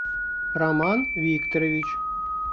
роман викторович